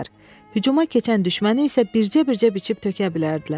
Hücuma keçən düşməni isə bircə-bircə biçib tökə bilərdilər.